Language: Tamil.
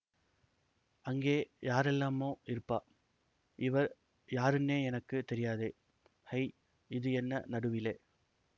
அங்கே யாரெல்லாமோ இருப்பா இவர் யாருன்னே எனக்கு தெரியாதே ஹை இது என்ன நடுவிலே